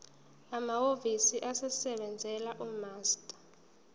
amahhovisi asebenzela umaster